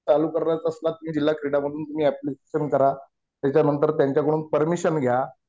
चालू करणार असलात तर जिल्हा क्रीडा मधून तुम्ही ऍप्लिकेशन करा. त्याच्यानंतर त्यांच्याकडून परमिशन घ्या.